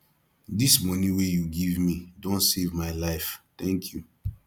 dis moni wey you give me don save my life thank you